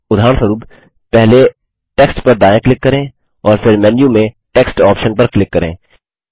उदाहरणस्वरूप पहले टेक्स्ट पर दायाँ क्लिक करें और फिर मेन्यू में टेक्स्ट ऑप्शन पर क्लिक करें